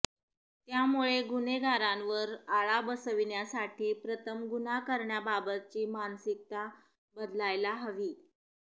त्यामुळे गुन्हेगारांवर आळा बसविण्यासाठी प्रथम गुन्हा करण्याबाबतची मानसिकता बदलायला हवी